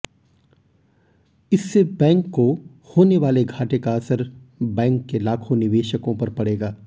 इससे बैंक को होने वाले घाटे का असर बैंक के लाखों निवेशकों पर पड़ेगा